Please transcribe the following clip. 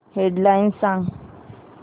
head lines सांग